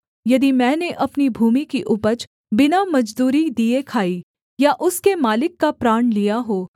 यदि मैंने अपनी भूमि की उपज बिना मजदूरी दिए खाई या उसके मालिक का प्राण लिया हो